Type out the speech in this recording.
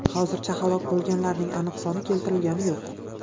Hozircha halok bo‘lganlarning aniq soni keltirilgani yo‘q.